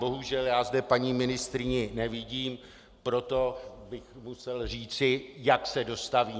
Bohužel já zde paní ministryni nevidím, proto bych musel říci, jakmile se dostaví.